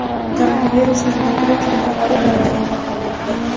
koronavirusning bu turi juda yuqori darajada tarqalmoqda.